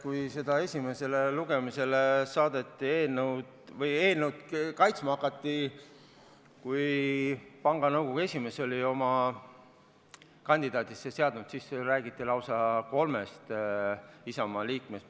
Kui seda eelnõu esimesele lugemisele saadeti või eelnõu kaitsma hakati, kui panga nõukogu esimees oli oma kandidaadid üles seadnud, siis räägiti lausa kolmest Isamaa liikmest.